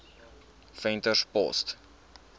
venterspost